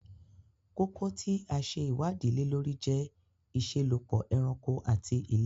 Koko ti a ṣe iwadi le lori jẹ iṣelọpọ ẹranko ati ilera